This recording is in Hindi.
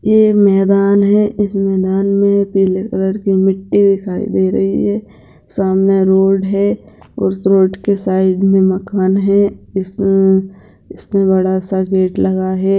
ये मैदान है इस मैदान मे पीले कलर की मिट्टी दिखाई दे रही है सामने रोड है उस रोड के साइड मे मकान है इसमे इसमे बडा-सा गेट लगा है ।